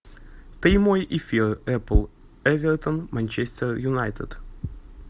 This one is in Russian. прямой эфир апл эвертон манчестер юнайтед